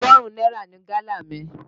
Ọgọ́rùn-ún náírà ni gálà mi.